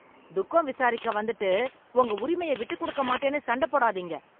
துக்கம் விசாரிக்க வந்துட்டு உங்க உரிமையை விட்டுக் கொடுக்கமாட்டேன்னு சண்டை போடாதீங்க.